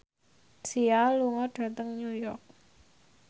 Sia lunga dhateng New York